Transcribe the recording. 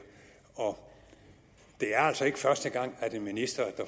det er altså ikke første gang at en minister